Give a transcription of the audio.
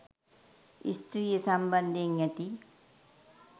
ස්ත්‍රිය සම්බන්ධයෙන් ඇති